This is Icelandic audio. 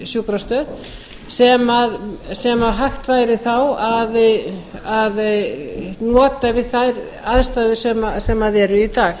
sjúkrastöð sem hægt væri þá að nota við þær aðstæður sem eru í dag